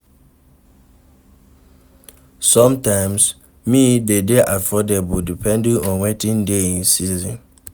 Sometimes, meals dey dey affordable depending on wetin dey in season